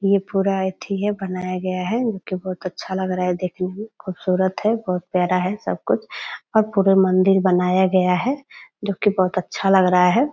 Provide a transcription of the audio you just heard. ये पूरा अथि है बनाया गया है जोकि बहुत अच्छा लग रहा है देखने मे खूबसूरत है बहुत प्यारा है सब कुछ और पूरा मन्दिर बनाया गया है जोकि बहुत अच्छा लग रहा है ।